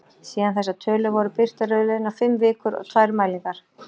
Síðan þessar tölur voru birtar eru liðnar fimm vikur og tvær mælingar.